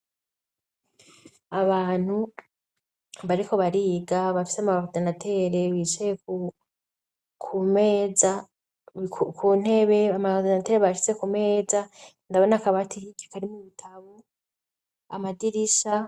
Abantu bariko bariga bafise amoridinatere bicaye ku meza, ku ntebe amoridinatere bayashize ku meza ndabona akabati hirya karimwo ibitabu amadirisha.